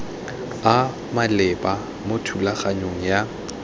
a maleba mo thulaganyong ya